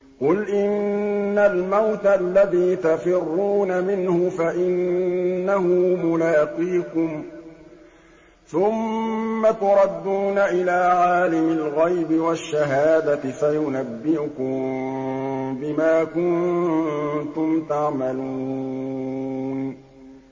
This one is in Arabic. قُلْ إِنَّ الْمَوْتَ الَّذِي تَفِرُّونَ مِنْهُ فَإِنَّهُ مُلَاقِيكُمْ ۖ ثُمَّ تُرَدُّونَ إِلَىٰ عَالِمِ الْغَيْبِ وَالشَّهَادَةِ فَيُنَبِّئُكُم بِمَا كُنتُمْ تَعْمَلُونَ